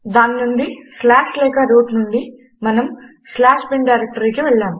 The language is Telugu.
దాని నుండి స్లాష్ లేక రూట్ నుండి మనము binస్లాష్ బిన్ డైరెక్టరీకి వెళ్ళాము